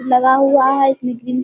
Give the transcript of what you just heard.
लगा हुआ है इसमें ग्रीन --